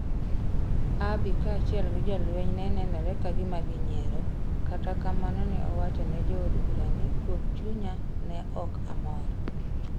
Abiy kaachiel gi jolwenygo ne nenore ka gima ginyiero, kata kamano ne owacho ne jo od bura ni, 'kuom chunya, ne ok amor.'